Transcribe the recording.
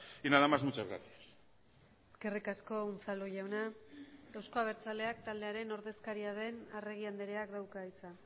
y nada más muchas gracias eskerrik asko unzalu jauna euzko abertzaleak taldearen ordezkaria den arregi andreak dauka hitza